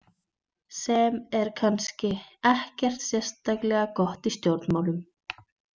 Sem er kannski ekkert sérstaklega gott í stjórnmálum.